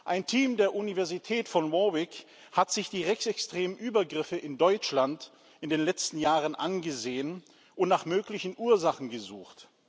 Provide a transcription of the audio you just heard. Ein Team der Universität von Warwick hat sich die rechtsextremen Übergriffe in Deutschland in den letzten Jahren angesehen und nach möglichen Ursachen gesucht.